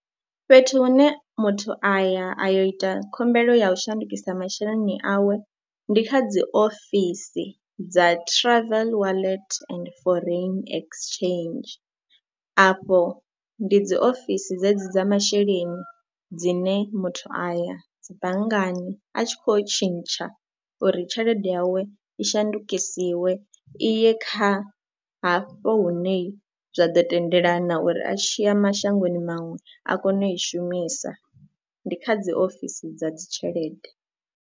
Fhethu hune muthu a ya a yo ita khumbelo ya u shandukisa masheleni awe ndi kha dzi ofisi dza travel wallet and foreign exchange, afho ndi dzi ofisi dzedzi dza masheleni dzine muthu a ya dzi banngani a tshi khou tshintsha uri tshelede yawe i shandukisiwe i ye kha hafho hune zwa ḓo tendelana uri a tshi ya mashangoni maṅwe a kone u i shumisa. Ndi kha dzi ofisi dza dzi tshelede.